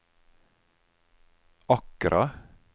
Accra